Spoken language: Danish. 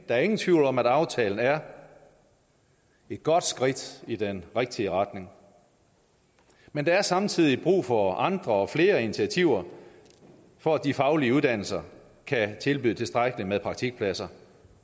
er ingen tvivl om at aftalen er et godt skridt i den rigtige retning men der er samtidig brug for andre og flere initiativer for at de faglige uddannelser kan tilbyde tilstrækkeligt med praktikpladser